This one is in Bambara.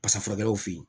Basa furakɛw fe yen